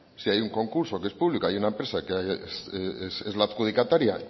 si hay un concurso que es público si hay una empresa que es la adjudicataria